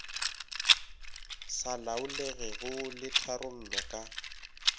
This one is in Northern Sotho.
sa laolegego le tharollo ka